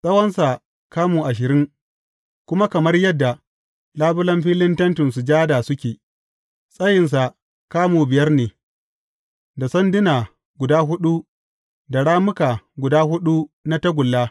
Tsawonsa kamu ashirin, kuma kamar yadda labulen filin Tentin Sujada suke, tsayinsa kamu biyar ne, da sanduna guda huɗu da rammuka guda huɗu na tagulla.